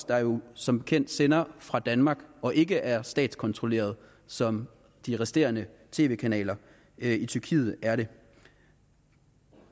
der jo som bekendt sender fra danmark og ikke er statskontrolleret som de resterende tv kanaler i tyrkiet er det